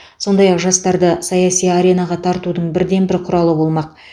сондай ақ жастарды саяси аренаға тартудың бірден бір құралы болмақ